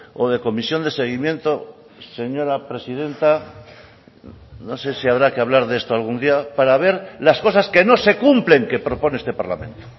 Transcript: o de comisión de seguimiento señora presidenta no sé si habrá que hablar de esto algún día para ver las cosas que no se cumplen que propone este parlamento